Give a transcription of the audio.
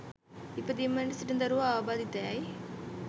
ඉපදීමට සිටින දරුවා ආබාධිතයැයි